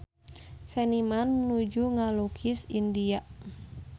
Seniman nuju ngalukis India